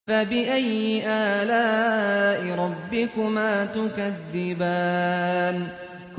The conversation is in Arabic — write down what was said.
فَبِأَيِّ آلَاءِ رَبِّكُمَا تُكَذِّبَانِ